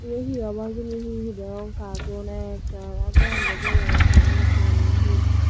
Iye hee obo hijeni hee hee degong karton ektal aa goran daw dol age kalar gocche guri hee.